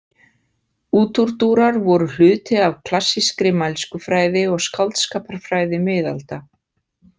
Útúrdúrar voru hluti af klassískri mælskufræði og skáldskaparfræði miðalda.